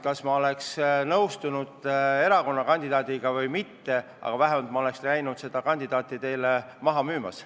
Kas ma oleks nõustunud erakonna kandidaadiga või mitte, aga vähemalt ma oleks käinud oma kandidaati maha müümas.